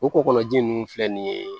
O kɔgɔji ninnu filɛ nin ye